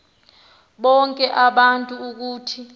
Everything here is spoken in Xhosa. bonke abantu ukuthi